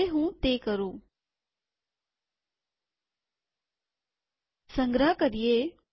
હવે હું તે કરું સંગ્રહ કરીએ